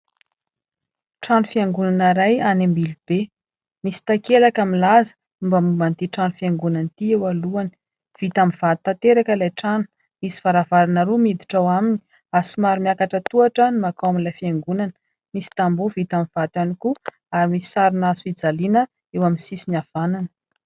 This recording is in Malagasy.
Trano fiangonana iray any Ambilobe. Misy takelaka milaza mombamomba an'ity trano fiangonana ity eo alohany. Vita amin'ny vato tanteraka ilay trano, misy varavarana roa miditra ao aminy, ary somary miakatra tohatra ny mankao amin'ilay fiangonana, misy tamboho vita amin'ny vato ihany koa ary misy sarina hazofijaliana eo amin'ny sisiny havanana.